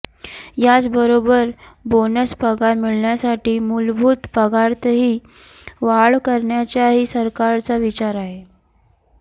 याच बरोबर बोनस पगार मिळण्यासाठी मुलभूत पगारातही वाढ करण्याचाही सरकारचा विचार आहे